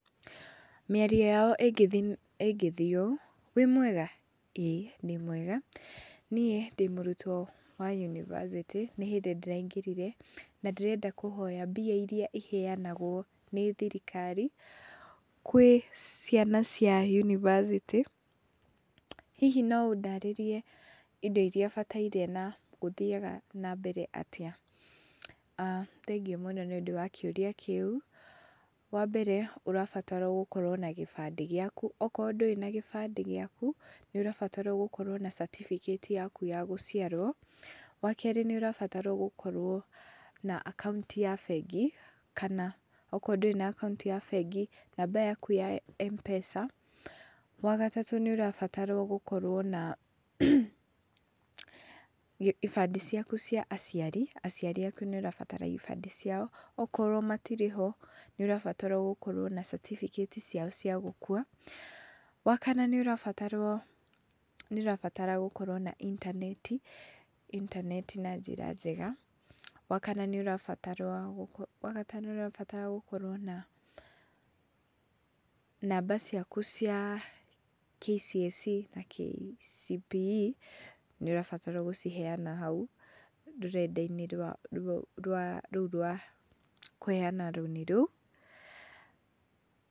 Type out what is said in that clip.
Mĩario yao ĩngĩthiĩ ũũ, Wĩ mwega, ĩĩ ndĩ mwega, niĩ ndĩ mũrutwo wa yunibacĩtĩ nĩ hĩndĩ ndĩraingĩrire, na ndĩrenda kũhoya mbia irĩa iheanagwo nĩ thirikari gwĩ ciana cia yunibacĩtĩ, hihi no ũndarĩrie indo irĩa bataire na gũthiaga na mbere atĩa. Aah Thengiũ mũno nĩ ũndũ wa kĩũria kĩu, wa mbere ũrabatara gũkorwo na gĩbandĩ gĩaku, okorwo ndũrĩ na gĩbandĩ gĩaku, nĩ ũrabatara gũkorwo na certificate yaku ya gũciarwo, wa kerĩ, nĩ ũrabatara gũkorwo na akaũnti ya bengi, kana okorwo ndũrĩ na akaũnti ya bengi, namba yaku ya M-Pesa, wa gatatũ, nĩ ũrabatara gũkorwo na ibandĩ ciaku cia aciari, aciari aku nĩ ũrabatara ibandĩ ciao, okorwo matirĩ ho, nĩ ũrabatara gũkorwo na certificate ciao cia gũkua, wa kana, nĩ ũrabatarwo, nĩ ũrabatara gũkorwo na intaneti, intaneti na njĩra njega, wa kana, nĩ ũrabatarwo, wa gatano nĩ ũrabatara gũkorwo na namba ciaku cia KCSE na KCPE, nĩ ũrabatara gũciheana hau, rũrenda-inĩ rũu rwa kũheana rũni rũu.